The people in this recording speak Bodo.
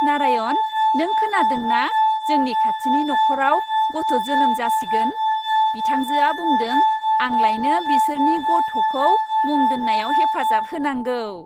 नारायण, नों खोनादों ना जोंनि खाथिनि नखराव गथ' जोनोम जासिगोन? बिथांजोआ बुंदों आंलायनो बिसोरनि गथ'खौ मुं दोन्नायाव हेफाजाब होनांगौ।